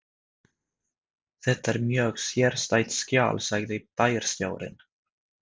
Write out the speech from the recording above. Þetta er mjög sérstætt skjal sagði bæjarstjórinn.